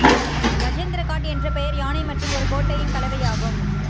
கஜேந்திரகாட் என்ற பெயர் யானை மற்றும் ஒரு கோட்டையின் கலவையாகும்